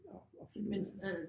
At at finde ud af